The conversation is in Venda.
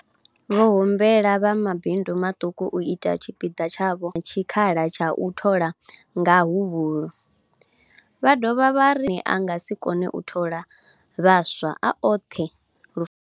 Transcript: Vho humbela vha mabindu maṱuku u ita tshipiḓa tshavho sa izwi vha na tshikhala tsha u thola nga huhulu, vha dovha vha a nga si kone u thola vhaswa a oṱhe lo.